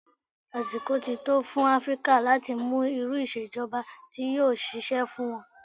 Àsìkò ti tó fún Áfríkà láti mú irú ìṣèjọba tí yóò ṣiṣẹ́ fún wọn.